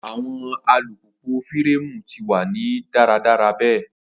Awọn alupupu fireemu ti wa ni daradara be